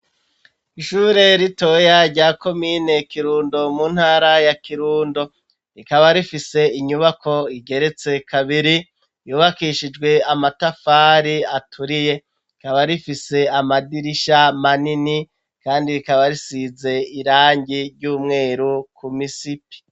Ishure ritoya rya komine Kirundo mu ntara ya Kirundo ,rikaba rifise inyubako igeretse kabiri ,yubakishijwe amatafari aturiye ,rikaba rifise amadirisha manini, kandi rikaba risize irangi ry'umweru ku misipi.